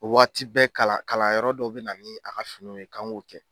O waati bɛ kalan kalan yɔrɔ dɔ bɛ na ni a ka finiw ye k'an k'o kɛ.